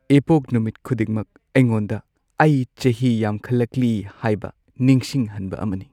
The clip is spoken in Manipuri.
ꯏꯄꯣꯛꯅꯨꯃꯤꯠ ꯈꯨꯗꯤꯡꯃꯛ ꯑꯩꯉꯣꯟꯗ ꯑꯩ ꯆꯍꯤ ꯌꯥꯝꯈꯠꯂꯛꯂꯤ ꯍꯥꯏꯕ ꯅꯤꯡꯁꯤꯡꯍꯟꯕ ꯑꯃꯅꯤ꯫